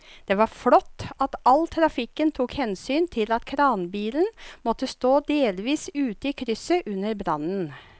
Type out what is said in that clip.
Det var flott at trafikken tok hensyn til at kranbilen måtte stå delvis ute i krysset under brannen.